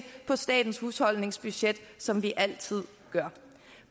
på statens husholdningsbudget som vi altid gør